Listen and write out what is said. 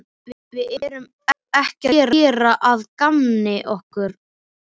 Við erum ekki að gera að gamni okkar.